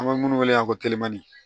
An bɛ minnu wele ankɔ kilɔni